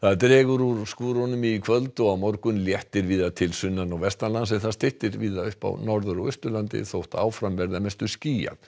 dregur úr skúrunum í kvöld og á morgun léttir víða til sunnan og vestanlands en það styttir víða upp á Norður og Austurlandi þó áfram verði að mestu skýjað